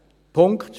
Punkt